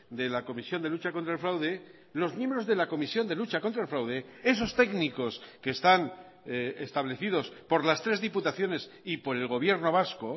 de la comisión de lucha contra el fraude los miembros de la comisión de lucha contra el fraude esos técnicos que están establecidos por las tres diputaciones y por el gobierno vasco